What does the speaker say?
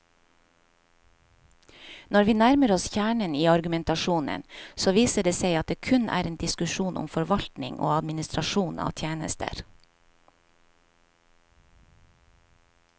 Når vi nærmer oss kjernen i argumentasjonen, så viser det seg at det kun er en diskusjon om forvaltning og administrasjon av tjenester.